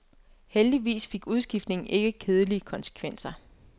Heldigvis fik udskiftningen ikke kedelige konsekvenser.